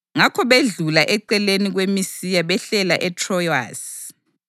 Ngakho bedlula eceleni kweMisiya behlela eTrowasi.